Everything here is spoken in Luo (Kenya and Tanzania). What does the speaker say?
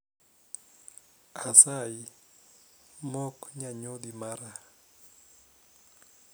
Asayi mok nyanyodhi mara